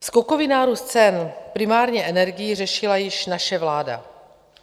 Skokový nárůst cen primárně energií řešila již naše vláda.